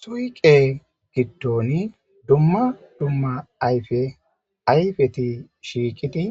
Suyqe giddon dumma dumma ayfe ayfeti shiiqidi